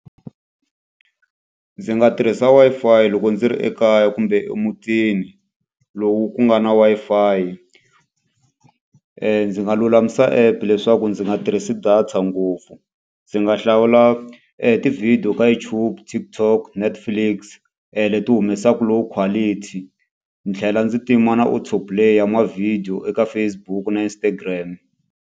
Ndzi nga tirhisa Wi-Fi loko ndzi ri ekaya kumbe emutini lowu ku nga na Wi-Fi. Ndzi nga lulamisa app leswaku ndzi nga tirhisi data ngopfu, ndzi nga hlawula ti-video ka YouTube, TikTok, Netflix leti humesaka low quality. Ndzi tlhela ndzi tima na auto play ya ma-video eka Facebook na Instagram.